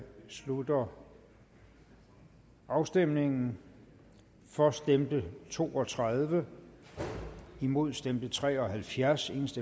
slutter afstemningen for stemte to og tredive imod stemte tre og halvfjerds